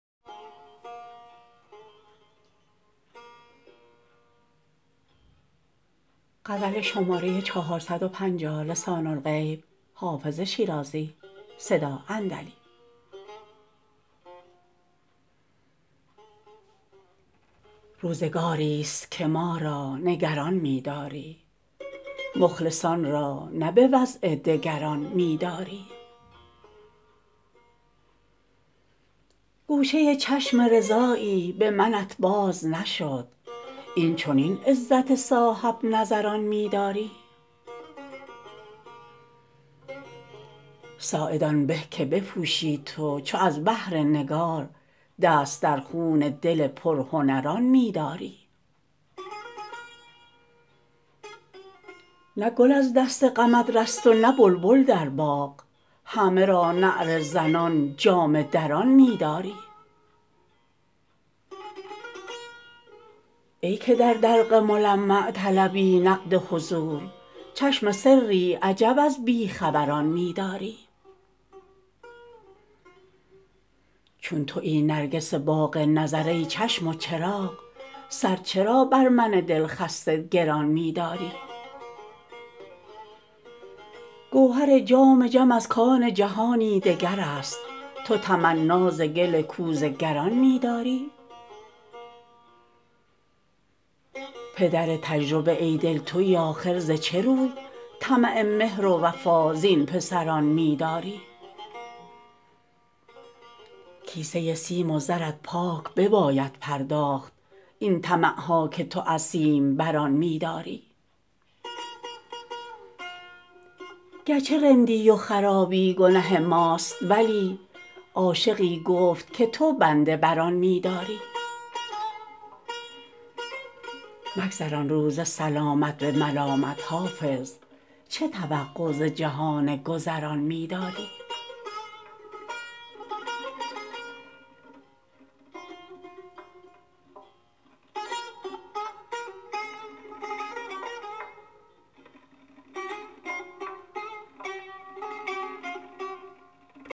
روزگاری ست که ما را نگران می داری مخلصان را نه به وضع دگران می داری گوشه چشم رضایی به منت باز نشد این چنین عزت صاحب نظران می داری ساعد آن به که بپوشی تو چو از بهر نگار دست در خون دل پرهنران می داری نه گل از دست غمت رست و نه بلبل در باغ همه را نعره زنان جامه دران می داری ای که در دلق ملمع طلبی نقد حضور چشم سری عجب از بی خبران می داری چون تویی نرگس باغ نظر ای چشم و چراغ سر چرا بر من دل خسته گران می داری گوهر جام جم از کان جهانی دگر است تو تمنا ز گل کوزه گران می داری پدر تجربه ای دل تویی آخر ز چه روی طمع مهر و وفا زین پسران می داری کیسه سیم و زرت پاک بباید پرداخت این طمع ها که تو از سیم بران می داری گر چه رندی و خرابی گنه ماست ولی عاشقی گفت که تو بنده بر آن می داری مگذران روز سلامت به ملامت حافظ چه توقع ز جهان گذران می داری